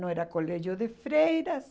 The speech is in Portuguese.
Não era colégio de freiras.